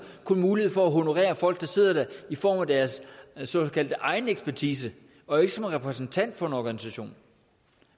kun mulighed for at honorere folk der sidder der i form af deres såkaldte egen ekspertise og ikke som repræsentant for en organisation